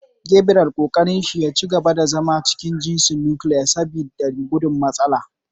Gabriel kokarin shi yaci gaba da zama a cikin jinsin "Nuclear " saboda gudun matsala.